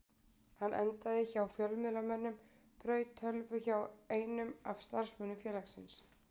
Hann endaði hjá fjölmiðlamönnum og braut tölvu hjá einum af starfsmönnum félagsins.